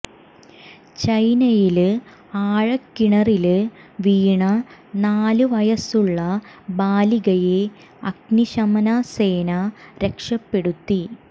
ചൈനയില് ആഴക്കിണറില് വീണ നാല് വയസുള്ള ബാലികയെ അഗ്നിശമനാ സേന രക്ഷപ്പെടുത്തി